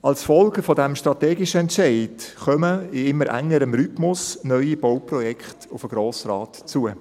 Als Folge dieses strategischen Entscheids kommen in immer engerem Rhythmus neue Bauprojekte auf den Grossen Rat zu.